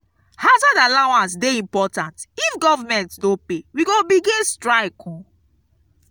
hazard allowance dey important if government no pay we go begin strike.